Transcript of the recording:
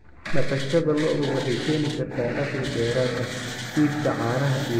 Dhaqashada lo'du waxay keeni kartaa dakhli dheeraad ah iibka caanaha iyo hilibka.